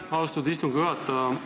Aitäh, austatud istungi juhataja!